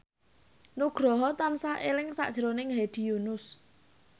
Nugroho tansah eling sakjroning Hedi Yunus